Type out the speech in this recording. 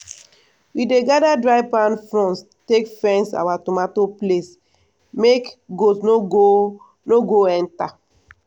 we dey gather dry palm fronds take fence our tomato place make goat no go no go enter.